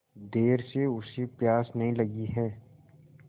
देर से उसे प्यास नहीं लगी हैं